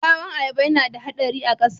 Ɓawon ayaba yana da haɗari a ƙasa